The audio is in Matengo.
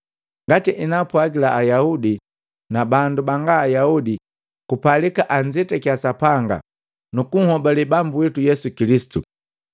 Ngati enaapwagila Ayaudi na bandu banga Ayaudi kupalika anzetakiya Sapanga nuku nhobale Bambu witu Yesu Kilisitu.